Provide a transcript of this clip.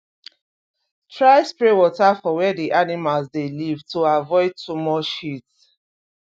try spray water for where d animals dey live to avoid too much heat